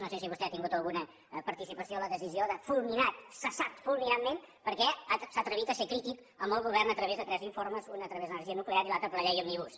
no sé si vostè ha tingut alguna participació en la decisió de fulminat cessat fulminantment perquè s’ha atrevit a ser crític amb el govern a través de tres informes un a través de l’energia nuclear i l’altre per la llei òmnibus